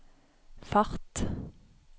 fart